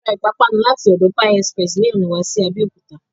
A ra ìpápánu láti ọ̀dọ Pie Express ni ọ̀nà wa sí Abẹ́òkúta